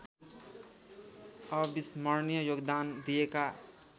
अविस्मणीय योगदान दिएका